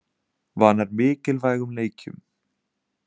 Vanar mikilvægum leikjum